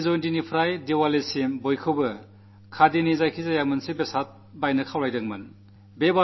ഗാന്ധി ജയന്തിമുതൽ ദീപാവലി വരെ ഖാദിയുടെ എന്തെങ്കിലും വാങ്ങണമെന്ന് അഭ്യർഥിക്കാറുണ്ട്